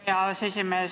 Hea aseesimees!